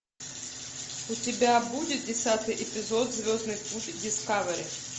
у тебя будет десятый эпизод звездный путь дискавери